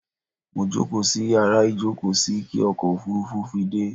Mo jókóò sí yàrá ìjókóò sí kí ọkò òfurufú fi dẹ́